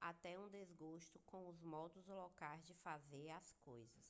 até um desgosto com os modos locais de fazer as coisas